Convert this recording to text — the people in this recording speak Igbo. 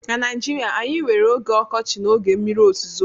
na Naijirịa anyị nwere oge ọkọchị na oge mmiri ozuzo